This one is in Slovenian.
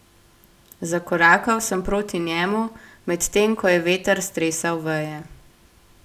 Zakorakal sem proti njemu, medtem ko je veter stresal veje.